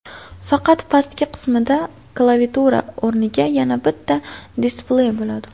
Faqat pastki qismida klaviatura o‘rniga, yana bitta displey bo‘ladi.